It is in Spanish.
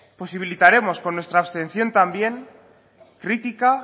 posibilitaremos con nuestra abstención también crítica